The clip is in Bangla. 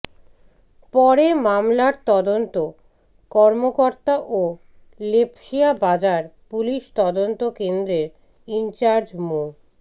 পরে মামলার তদন্ত কর্মকর্তা ও লেপসিয়া বাজার পুলিশ তদন্ত কেন্দ্রের ইনচার্জ মো